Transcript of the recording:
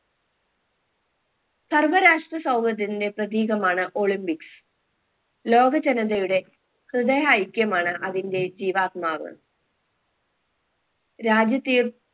സർവ്വ രാഷ്ട്ര സൗഹൃദത്തിന്റെ പ്രതീകമാണ് olympics ലോകജനതയുടെ ഹൃദയ ഐക്യമാണ് അതിന്റെ ജീവാത്മാവ് രാജ്യത്തെയും